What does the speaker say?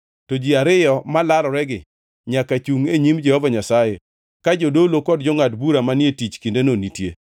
to ji ariyo ma laroregi nyaka chungʼ e nyim Jehova Nyasaye ka jodolo kod jongʼad bura manie tich e kindeno nitie.